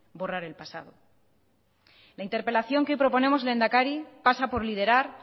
borrar el pasado la interpelación que proponemos lehendakari pasa por liderar